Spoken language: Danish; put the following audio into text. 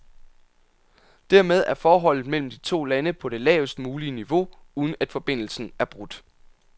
Dermed er forholdet mellem de to lande på det lavest mulige niveau, uden at forbindelsen er brudt.